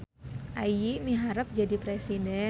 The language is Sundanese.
Ayi miharep jadi presiden